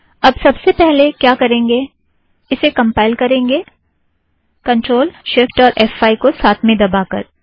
अब सब से पहले क्या करेंगें - इसे कम्पाइल करेंगे ctrl shift और फ़5 को साथ में दबाकर